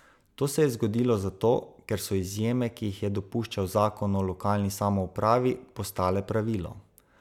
To se je zgodilo zato, ker so izjeme, ki jih je dopuščal zakon o lokalni samoupravi, postale pravilo.